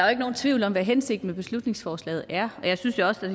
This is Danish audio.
er nogen tvivl om hvad hensigten med beslutningsforslaget er jeg synes jo også at